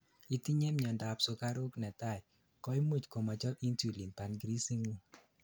itinyei miandap sugaruk 1,koimuch komochob insulin pancreas ingung